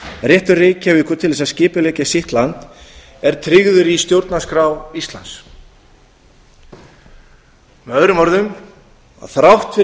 réttur reykjavíkur til þess að skipuleggja sitt land er tryggður í stjórnarskrá íslands með öðrum orðum þrátt fyrir